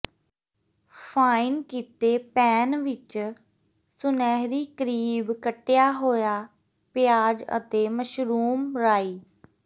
fine ਕੀਤੇ pan ਵਿਚ ਸੁਨਹਿਰੀ ਕਰੀਬ ਕੱਟਿਆ ਹੋਇਆ ਪਿਆਜ਼ ਅਤੇ ਮਸ਼ਰੂਮ ਰਾਈ